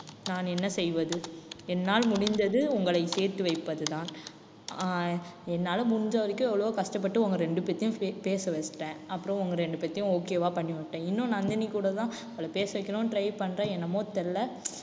நான் என்ன செய்வது என்னால் முடிந்தது உங்களை சேர்த்து வைப்பதுதான் அஹ் என்னால முடிஞ்ச வரைக்கும் எவ்வளவோ கஷ்டப்பட்டு உங்க ரெண்டு பேத்தையும் பேச வச்சுட்டேன் அப்பறம் உங்க ரெண்டு பேத்தையும் okay வா பண்ணிவிட்டேன். இன்னும் நந்தினி கூட தான் அவளை பேச வைக்கணும்னு try பண்றேன். என்னமோ தெரியல